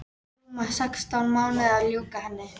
Tók rúma sextán mánuði að ljúka henni.